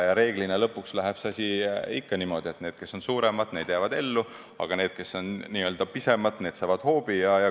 Reeglina lõpuks läheb see asi ikka niimoodi, et need, kes on suuremad, jäävad ellu, aga need, kes on pisemad, saavad hoobi.